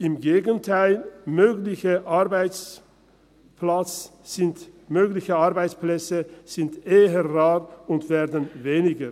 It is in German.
Im Gegenteil: Mögliche Arbeitsplätze sind eher rar und werden weniger.